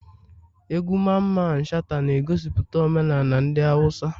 Egwu Mamman shata na egosiputa omenala ndi hausa